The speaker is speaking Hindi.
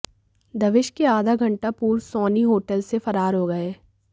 दबिश के आधा घंटा पूर्व सोनी होटल से फरार हो गए